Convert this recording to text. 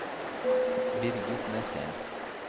Birgit Nesheim